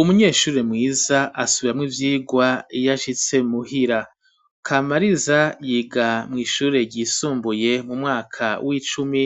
Umunyeshure mwiza asubiramwo ivyirwa iyashitse muhira Kamariza yiga mw'ishure ryisumbuye mu mwaka w'icumi